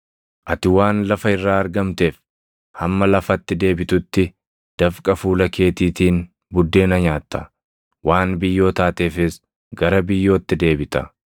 Ati waan lafa irraa argamteef, hamma lafatti deebitutti dafqa fuula keetiitiin buddeena nyaatta; waan biyyoo taateefis, gara biyyootti deebita.”